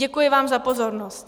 Děkuji vám za pozornost.